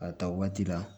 A ta waati la